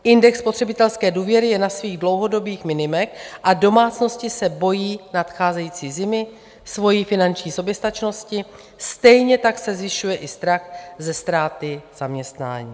Index spotřebitelské důvěry je na svých dlouhodobých minimech a domácnosti se bojí nadcházející zimy, svojí finanční soběstačnosti, stejně tak se zvyšuje i strach ze ztráty zaměstnání.